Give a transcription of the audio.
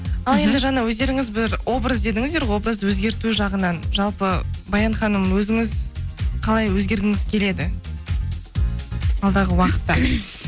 ал енді жаңа өздеріңіз бір образ дедіңіздер ғой образды өзгерту жағынан жалпы баян ханым өзіңіз қалай өзгергіңіз келеді алдағы уақытта